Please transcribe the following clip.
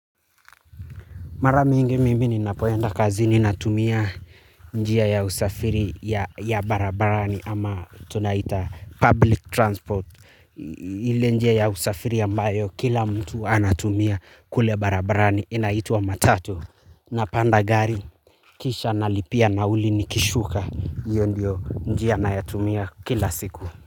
Mara mingi mimi ninapoenda kazini natumia njia ya usafiri ya barabarani ama tunaita public transport. Ile njia ya usafiri ambayo kila mtu anatumia kule barabarani inaitwa matatu. Napanda gari kisha nalipia nauli nikishuka hiyo ndio njia nayotumia kila siku.